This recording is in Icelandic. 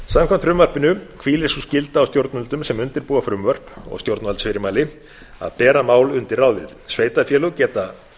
samkvæmt frumvarpinu hvílir sú skylda á stjórnvöldum sem undirbúa frumvörp og stjórnvaldsfyrirmæli að bera mál undur ráðið sveitarfélög geta